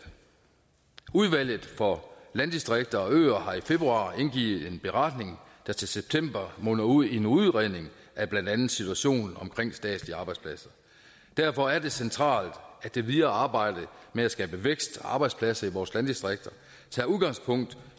udvalget for landdistrikter og øer har i februar indgivet en beretning der til september munder ud i en udredning af blandt andet situationen med statslige arbejdspladser derfor er det centralt at det videre arbejde med at skabe vækst og arbejdspladser i vores landdistrikter tager udgangspunkt